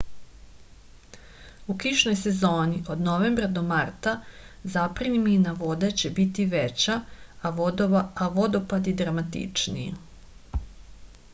у кишној сезони од новембра до марта запремина воде ће бити већа а водопади драматичнији